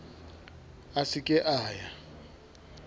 a se ke a ya